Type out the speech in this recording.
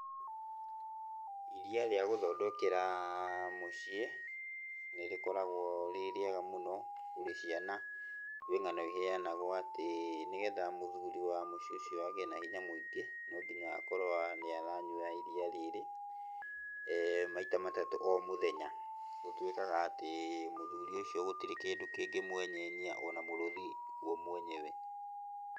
Iria rĩa gũthondekera mũciĩ nĩ rĩkoragwo rĩ rĩega mũno kũrĩ ciana. Kwĩ ng'ano iheanagwo atĩ nĩgetha mũthuri wa mũciĩ ũcio agĩe na hinya mũingĩ, nonginya akorwo nĩaranyua iria rĩrĩ maita matatũ o mũthenya. Gũtuĩkaga atĩ mũthuri ũcio gũtirĩ kĩndũ kĩngĩmwenyenyia ona mũrũthi guo mwenyewe .